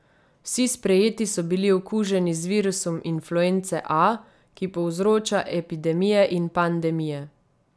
Vsi sprejeti so bili okuženi z virusom influence A, ki povzroča epidemije in pandemije.